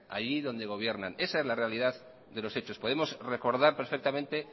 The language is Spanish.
allí donde gobiernan esa es la realidad de los hechos podemos recordar perfectamente